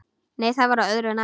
Nei, það var öðru nær!